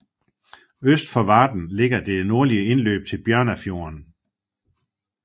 Øst for Varden ligger det nordlige indløb til Bjørnafjorden